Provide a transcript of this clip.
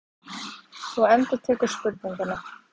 Þú endurtekur spurninguna.